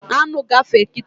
Aṅụ gafee kịta